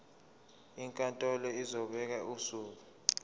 inkantolo izobeka usuku